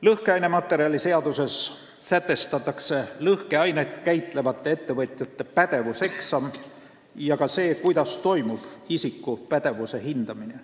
Lõhkematerjaliseaduses sätestatakse lõhkeainet käitlevate ettevõtjate pädevuseksam ja ka see, kuidas toimub isiku pädevuse hindamine.